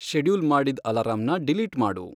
schedule ಮಾಡಿದ್ ಅಲಾರಂನ delete ಮಾಡು